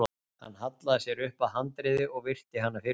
Hann hallaði sér upp að handriði og virti hana fyrir sér.